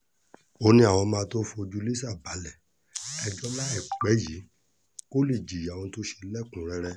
ó ní àwọn máa tóó fojú lisa balẹ̀-ẹjọ́ láìpẹ́ yìí kó lè jìyà ẹ̀ṣẹ̀ ohun tó ṣe lẹ́kùn-ún-rẹ́rẹ́